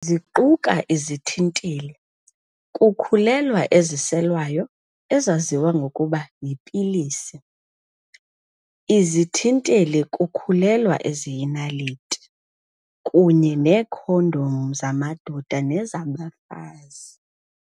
Ziquka izithinteli-kukhulelwa eziselwayo, ezaziwa ngokuba 'yipilisi', izithinteli-kukhulelwa eziyinaliti, kunye neekhondomu zamadoda nezabafazi.